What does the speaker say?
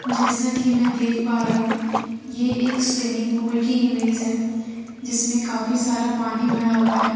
जैसा कि मैं देख पा रही हूं ये एक स्विमिंग पूल की इमेज है जिसमें काफी सारा पानी भरा हुआ है।